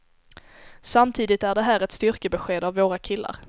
Samtidigt är det här ett styrkebesked av våra killar.